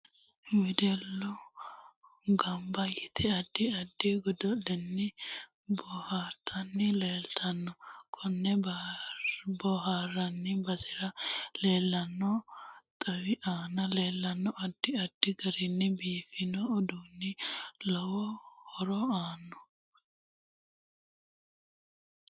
Wedellu ganba yite addi addi godo'leni boohartani leeltanno konne booharanni basera leelanno xawi aana leelanno addi addi garini biifinsooni uduuni lowo horo aano